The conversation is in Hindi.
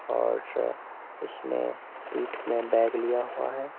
और इसने पीठ में बैग लिया हुआ है।